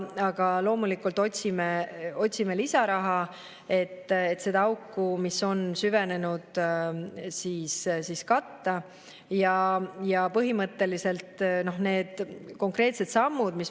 Aga loomulikult otsime lisaraha, et seda auku, mis on süvenenud, katta.